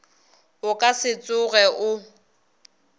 o ka se tsoge o